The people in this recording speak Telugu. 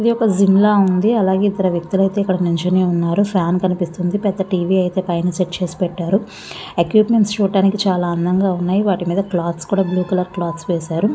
ఇదొక జిమ్ లా ఉంది. అలాగే ఇద్దరు వ్యక్తులైతే ఇక్కడ నిల్చొని ఉన్నారు. ఫ్యాన్ కనిపిస్తుంది. పెద్ద టీ_వీ అయితే పైన సెట్ చేసి పెట్టారు. ఎక్విప్మెంట్స్ చూడడానికి చాల అందంగా ఉన్నాయ్. వాటి మీద క్లోత్స్ కూడ బ్లూ కలర్ క్లోత్స్ వేశారు.